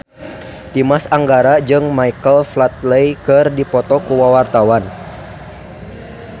Dimas Anggara jeung Michael Flatley keur dipoto ku wartawan